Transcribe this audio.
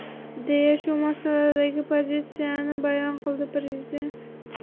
deya shu masaladagi pozitsiyasini bayon qildi prezident.